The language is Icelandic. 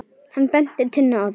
Hann benti Tinnu á það.